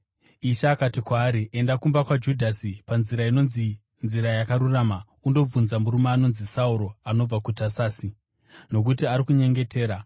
Ishe akati kwaari, “Enda kumba kwaJudhasi panzira inonzi Nzira Yakarurama undobvunza murume anonzi Sauro anobva kuTasasi, nokuti ari kunyengetera.